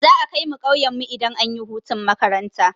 Za'a kaimu ƙauyen mu idan anyi hutun makaranta.